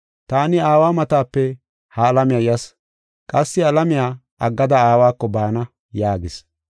Taani Aawa matape ha alamiya yas; qassi alamiya aggada Aawako baana” yaagis.